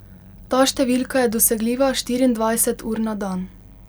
Ta številka je dosegljiva štiriindvajset ur na dan.